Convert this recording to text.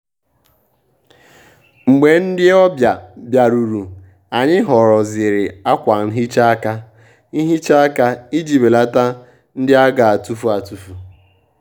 mgbè ndị́ ọ́bị̀à bìárùrù ànyị́ họ́rọ́zìrì ákwà nhị́chá áká nhị́chá áká ìjí bèlàtá ndị́ á gà-àtụ́fù àtụ́fù.